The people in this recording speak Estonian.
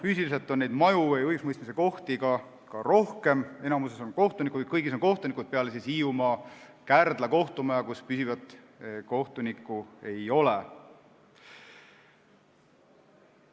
Füüsiliselt on maju või õigusemõistmise kohti rohkem, kõigis on kohtunikud, peale Kärdla kohtumaja Hiiumaal, kus püsivat kohtunikku ei ole.